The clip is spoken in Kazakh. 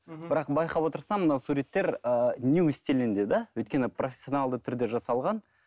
мхм бірақ байқап отырсам мына суреттер ыыы нью стилінде да өйткені профессионалды түрде жасалған